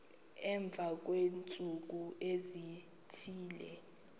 emva kweentsuku ezithile